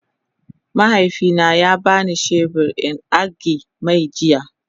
mahaifi na ya bani shebur in agi-mai jiya.